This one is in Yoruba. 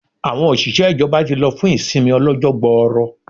Àwọn òṣìṣẹ́ ìjọba ti lọ fún ìsinmi ọlọ́jọ́ gbooro